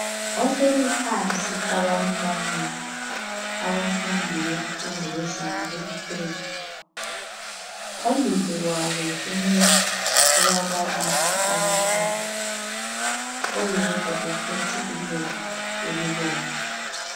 Ohleli phansi abanye bamile abafundi bemfundo yezinga eliphezulu phambili kwabo kulababalisi abathathu oyedwa uphethe ilembu elibomvu